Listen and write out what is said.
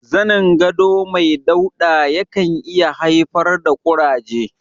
Zanin gado mai dauɗa ya kan iya haifar da ƙuraje.